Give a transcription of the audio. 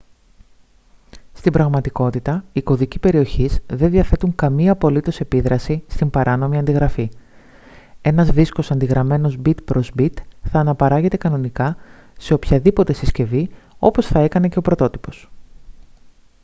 στην πραγματικότητα οι κωδικοί περιοχής δεν διαθέτουν καμία απολύτως επίδραση στην παράνομη αντιγραφή ένας δίσκος αντιγραμμένος bit προς bit θα αναπαράγεται κανονικά σε οποιαδήποτε συσκευή όπως θα έκανε και ο πρωτότυπος